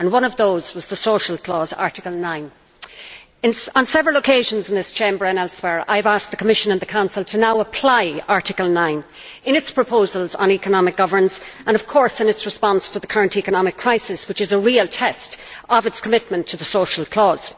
One of those was the social clause, Article 9. On several occasions in this Chamber and elsewhere I have asked the Commission and the Council to now apply Article 9 in their proposals on economic governance and, of course, in their response to the current economic crisis, which is a real test of their commitment to the social clause.